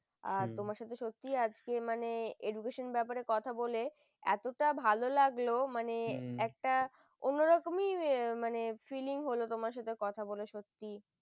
হম তোমার সাথে সত্যিই আজকে আমার education র ব্যাপারে কথা বলে এতটা ভালো লাগলো মানে একটা অন্যরকমই মানে filling হলো তোমার সাথে কথা বলা সত্যি